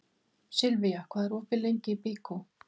Silvía, hvað er opið lengi í Byko?